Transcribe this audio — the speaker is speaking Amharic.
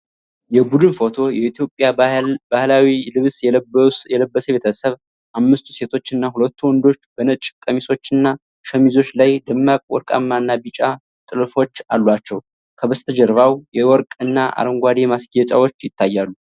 የቡድን ፎቶ የኢትዮጵያ ባህላዊ ልብስ የለበሰ ቤተሰብ ። አምስቱ ሴቶችና ሁለቱ ወንዶች በነጭ ቀሚሶችና ሸሚዞች ላይ ደማቅ ወርቃማ እና ቢጫ ጥልፎች አሏቸው። ከበስተጀርባው የወርቅ እና አረንጓዴ ማስጌጫዎች ይታያሉ።